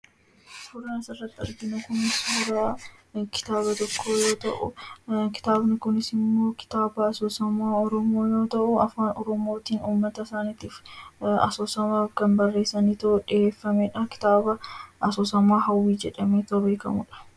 Suuraan asirratti arginu kun suuraa kitaaba tokkoo yoo ta'u, kitaabni kunis immoo kitaaba asoosamaa Afaan Oromoo Hawwii jedhamuun beekamudha. Kitaabni kunis kan barreeffame uummata Oromoof hog-barruu isaa guddisuufidha.